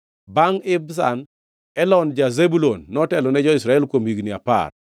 Bangʼ Ibzan, Elon ja-Zebulun notelo ne Israel kuom higni apar.